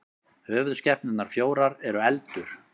höfuðskepnurnar fjórar eru eldur